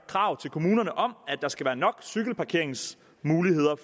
krav til kommunerne om at der skal være nok cykelparkeringsmuligheder